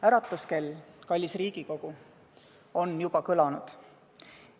Äratuskell, kallis Riigikogu, on juba kõlanud.